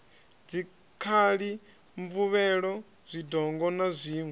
dzikhali mvuvhelo zwidongo na zwiṋwe